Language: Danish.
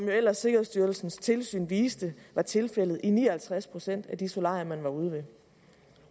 jo ellers sikkerhedsstyrelsens tilsyn viste var tilfældet i ni og halvtreds procent af de solarier man var